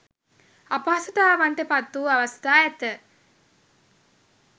අපහසුතාවන්ට පත් වූ අවස්ථා ඇත.